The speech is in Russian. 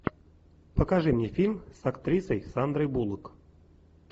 покажи мне фильм с актрисой сандрой буллок